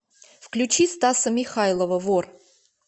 включи стаса михайлова вор